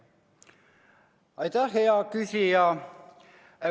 Aitäh, hea küsija!